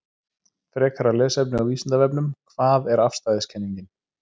Frekara lesefni á Vísindavefnum: Hvað er afstæðiskenningin?